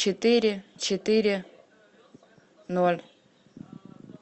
четыре четыре ноль